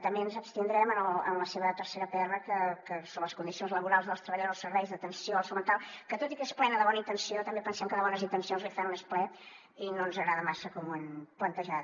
també ens abstindrem en la seva tercera pr sobre les condicions laborals dels treballadors dels serveis d’atenció a la salut mental que tot i que és plena de bona intenció també pensem que de bones intencions l’infern n’és ple i no ens agrada massa com ho han plantejat